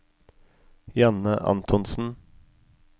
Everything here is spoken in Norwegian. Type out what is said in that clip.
Janne Antonsen